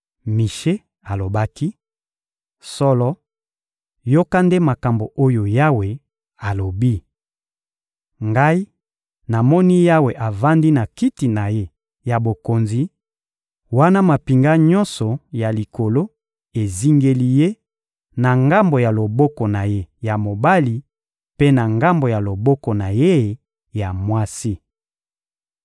Mishe alobaki: — Solo, yoka nde makambo oyo Yawe alobi! Ngai namoni Yawe avandi na Kiti na Ye ya bokonzi, wana mampinga nyonso ya likolo ezingeli Ye, na ngambo ya loboko na Ye ya mobali mpe na ngambo ya loboko na Ye ya mwasi.